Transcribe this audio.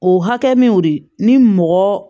O hakɛ min y'o de ni mɔgɔ